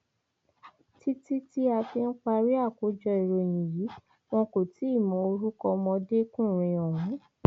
títí tí a fi ń parí àkójọ ìròyìn yìí wọn kò tí ì mọ orúkọ ọmọdékùnrin ọhún